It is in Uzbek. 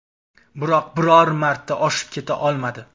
Biroq biror marta oshib keta olmadi.